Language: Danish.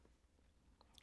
DR K